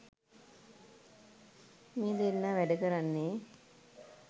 මේ දෙන්නා වැඩ කරන්නේ